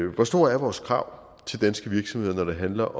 hvor store er vores krav til danske virksomheder når det handler